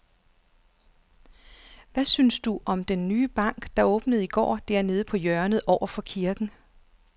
Hvad synes du om den nye bank, der åbnede i går dernede på hjørnet over for kirken?